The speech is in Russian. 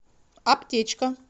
аптечка